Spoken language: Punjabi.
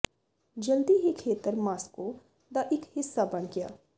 ਜਲਦੀ ਹੀ ਖੇਤਰ ਮਾਸਕੋ ਦਾ ਇੱਕ ਹਿੱਸਾ ਬਣ ਗਿਆ